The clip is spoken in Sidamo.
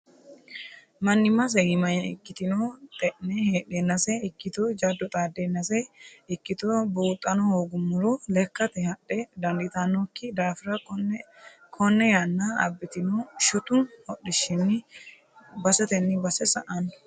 Manimase iima ikkitino xene heedhennase ikkitto jado xaadenase ikkitto buuxano hoogummoro lekkate hadhe dandittanokki daafira kone yanna abbitino shotu hodhishshinni basetenni base sa'ano.